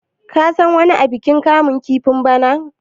ka san wani abikin kamun kifin bana!